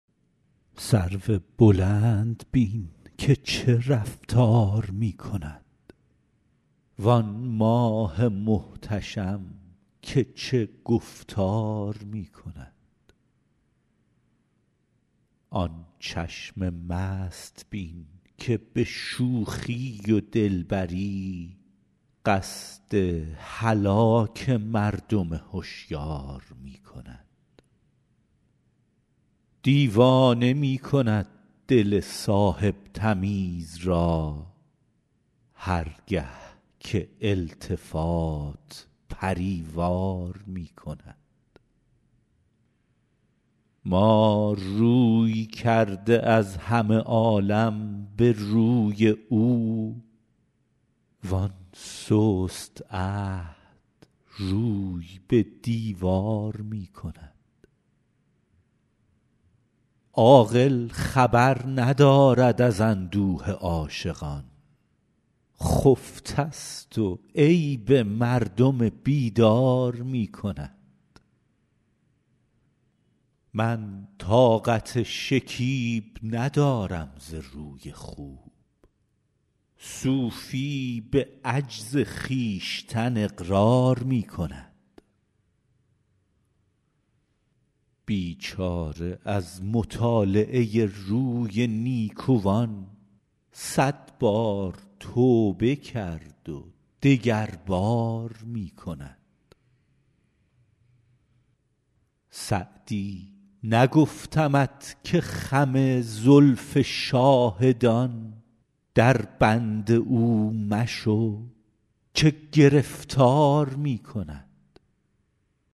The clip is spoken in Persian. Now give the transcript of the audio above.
سرو بلند بین که چه رفتار می کند وآن ماه محتشم که چه گفتار می کند آن چشم مست بین که به شوخی و دلبری قصد هلاک مردم هشیار می کند دیوانه می کند دل صاحب تمیز را هر گه که التفات پری وار می کند ما روی کرده از همه عالم به روی او وآن سست عهد روی به دیوار می کند عاقل خبر ندارد از اندوه عاشقان خفته ست و عیب مردم بیدار می کند من طاقت شکیب ندارم ز روی خوب صوفی به عجز خویشتن اقرار می کند بیچاره از مطالعه روی نیکوان صد بار توبه کرد و دگربار می کند سعدی نگفتمت که خم زلف شاهدان دربند او مشو که گرفتار می کند